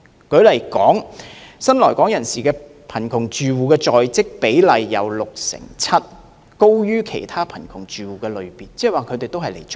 舉例而言，新來港人士的貧窮住戶在職比例為六成七，高於其他貧窮住戶的類別。